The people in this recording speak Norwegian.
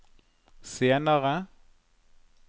senere